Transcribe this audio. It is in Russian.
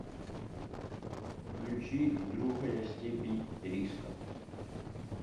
включи другая степень риска